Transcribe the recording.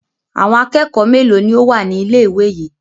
Àwọn akẹ́kọ̀ọ́ mélòó ni ó wà ní ilé-ìwé yìí?